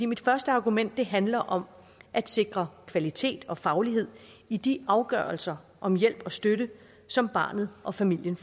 mit første argument handler om at sikre kvalitet og faglighed i de afgørelser om hjælp og støtte som barnet og familien